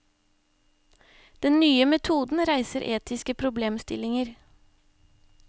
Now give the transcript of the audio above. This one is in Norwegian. Den nye metoden reiser etiske problemstillinger.